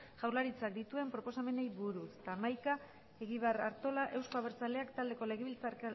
jaurlaritzak dituen proposamenei buruz gai zerrendako hamaikagarren puntua interpelazioa joseba egibar artola euzko abertzaleak taldeko